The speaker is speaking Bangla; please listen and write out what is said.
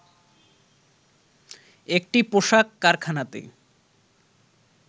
একটি পোশাক কারখানাতে